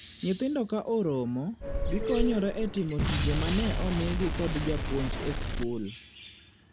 Nyithindo ka oromo, gikonyore e timo tije mane omigi kod japuonj e skul.